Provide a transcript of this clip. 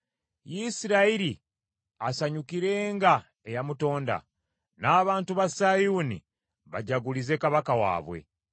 Isirayiri asanyukirenga eyamutonda; n’abantu ba Sayuuni bajagulize Kabaka waabwe!